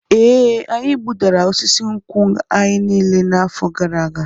E, anyị gbudara osisi nkwụ anyị niile n'afọ gara aga.